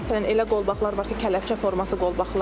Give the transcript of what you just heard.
Məsələn, elə qolbağlar var ki, kələpçə forması qolbağlardır.